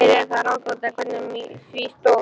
Mér er það ráðgáta, hvernig á því stóð.